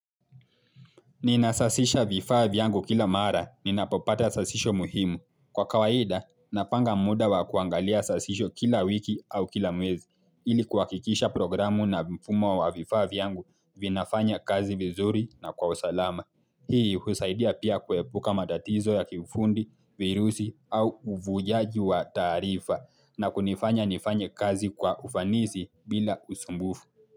Ninasasisha vifaa vyangu kila mara, ninapopata sasisho muhimu. Kwa kawaida, napanga muda wa kuangalia sasisho kila wiki au kila mwezi. Ili kuhakikisha programu na mfumo wa vifaa yangu vinafanya kazi vizuri na kwa usalama. Hii husaidia pia kuepuka matatizo ya kiufundi, virusi au uvujaji wa tarifa na kunifanya nifanye kazi kwa ufanisi bila usumbufu.